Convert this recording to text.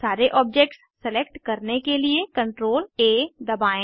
सारे objects select करने के लिए CTRL A दबाएं